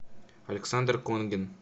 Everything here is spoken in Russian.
александр конгин